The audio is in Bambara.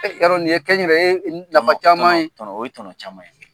Y'a dɔn nin ye kɛ n yɛrɛ ye nafa caman ye , o ye tɔnɔ caman ye.